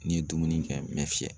N'i ye dumuni kɛ n bɛ fiyɛ.